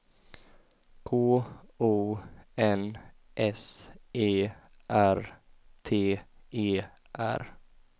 K O N S E R T E R